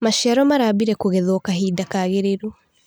Maciaro marambirie kũgethwo kahinda kagĩrĩru.